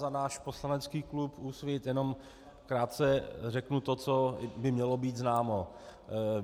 Za náš poslanecký klub Úsvit jenom krátce řeknu to, co by mělo být známo.